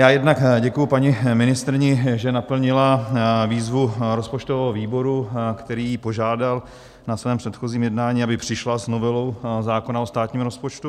Já jednak děkuji paní ministryni, že naplnila výzvu rozpočtového výboru, který ji požádal na svém předchozím jednání, aby přišla s novelou zákona o státním rozpočtu.